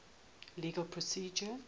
legal procedure